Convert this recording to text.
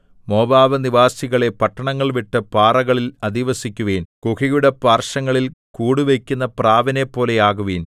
Moab നിവാസികളേ പട്ടണങ്ങൾ വിട്ട് പാറകളിൽ അധിവസിക്കുവിൻ ഗുഹയുടെ പാർശ്വങ്ങളിൽ കൂടുവയ്ക്കുന്ന പ്രാവിനെപ്പോലെയാകുവിൻ